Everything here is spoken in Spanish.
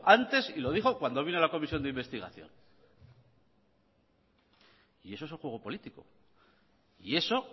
antes y lo dijo cuando vino a la comisión de investigación y eso es el juego político y eso